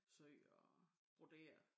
Syer og broderer